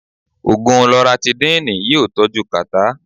Ògùn Loratidínìì yí ọ́ tọ́jú kàtà.